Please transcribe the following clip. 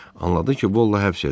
Anladı ki, Bolla həbs edilib.